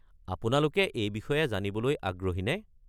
আপোনালোকে এই বিষয়ে জানিবলৈ আগ্রহীনে?